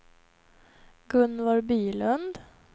Gunvor Bylund